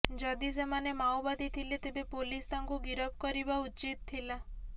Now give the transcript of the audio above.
ଯଦି ସେମାନେ ମାଓବାଦୀ ଥିଲେ ତେବେ ପୋଲିସ ତାଙ୍କୁ ଗିରଫ କରିବା ଉଚିତ୍ ଥିଲା